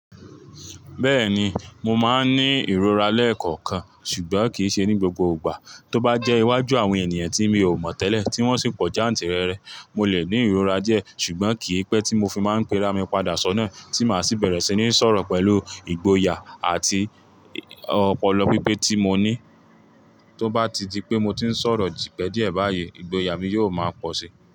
Bẹ́ẹ̀ni, mo máa ń ní ìrora lẹ́ẹ̀kọ̀kan, ṣùgbọ́n kì í ṣe ní gbogbo ìgbà. Tóbá jẹ́ iwájú àwọn ènìyàn tí mi ò mọ̀ tẹ́lẹ̀ tí wọ́n sì ń pọ jàǹtì rẹrẹ, mo lè ní ìrora díẹ̀, ṣùgbọ́n kì í pẹ́ tí mo fi máa ń pera mi padà sọ́nà tí màá sì bẹ̀rẹ̀ sí ní sọ̀rọ̀ pẹ̀lú ìgboyà àti ọpọlọ pípé tí mo ní. Tóbá ti di pé mo ti ń sọ̀rọ̀ ji pẹ díẹ̀ báyìí, ìgboyà mi yóò máa pọ̀ si.